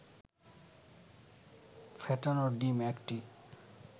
ফেটানো ডিম ১টি